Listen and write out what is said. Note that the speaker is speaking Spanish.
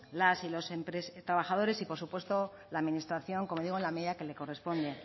las y los trabajadores y por supuesto la administración como digo en la medida en que le corresponde